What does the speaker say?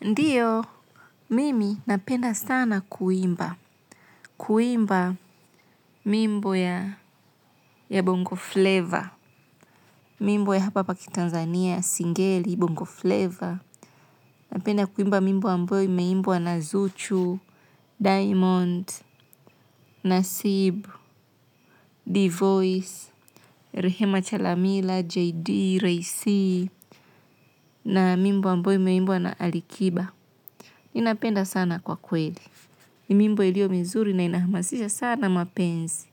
Ndiyo, mimi napenda sana kuimba. Kuimba mimbo ya Bongo Flavor. Mimbo ya hapa hapa ki Tanzania, Singeli, Bongo Flavor. Napenda kuimba mimbo ambayo imeimbwa na Zuchu, Diamond, Nasibu, D-Voice, Rehema Chalamila, JD, Ray C, na mimbo ambayo imeimbwa na Alikiba. Ninapenda sana kwa kweli. Mimbo ilio mizuri na inahamasisha sana mapenzi.